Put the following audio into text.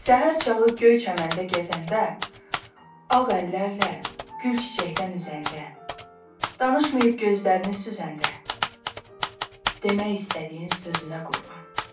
Səhər çağı göy çəməndə gəzəndə, ağ əllərlə gül çiçəkdən üzəndə, danışmayıb gözlərini süzəndə, demək istədiyin sözünə qurban.